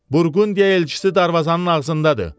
Burqundiya elçisi darvazanın ağzındadır.